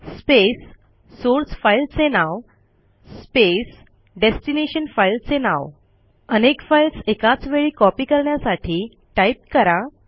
space source file चे नाव space destination file चे नाव अनेक फाईल्स एकाच वेळी कॉपी करण्यासाठी टाईप करा